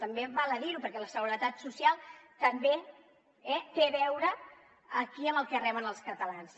també val a dir ho perquè la seguretat social també té a veure aquí amb el que reben els catalans